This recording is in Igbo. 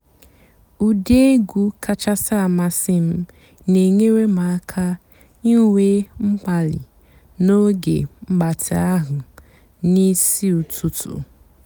ụ́dị́ ègwú kàchàsị́ àmásị́ m nà-ènyééré m àká ìnwé m̀kpàlí n'óge m̀gbàtị́ àhú́ n'ìsí ụ́tụtụ́.